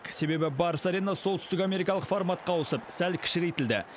себебі барыс арена солтүстік америкалық форматқа ауысып сәл кішірейтілді